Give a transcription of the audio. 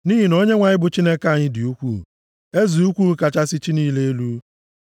Nʼihi na Onyenwe anyị bụ Chineke dị ukwuu, eze ukwuu kachasị chi niile elu.